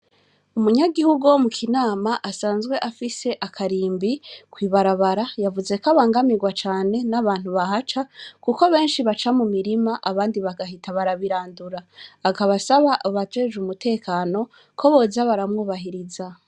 Umunyagihugu wo mu Kinama asanzwe afise akarimbi kwibarabara yavuzeko abangamirwa cane n'abantu bahaca kuko benshi baca mu mirima abandi bagahita barabirandura akaba asaba abajejwe umutekano ko boza baramwubahiriza.